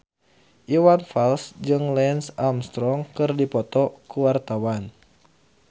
Iwan Fals jeung Lance Armstrong keur dipoto ku wartawan